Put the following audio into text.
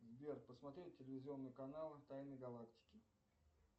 сбер посмотреть телевизионный канал тайны галактики